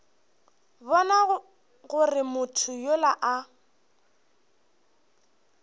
bona gore motho yola a